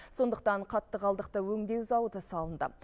сондықтан қатты қалдықты өңдеу зауыты салынды